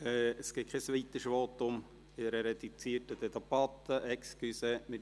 Es gibt in einer reduzierten Debatte kein weiteres Votum, Entschuldigung.